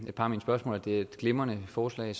i et par af mine spørgsmål at det er et glimrende forslag